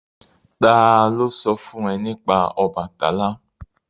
Ta ló sọ fún ẹ nípa Ọbàtálá?